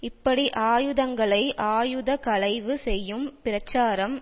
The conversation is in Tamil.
இப்படி ஆயுதங்களை ஆயுத களைவு செய்யும் பிரச்சாரம்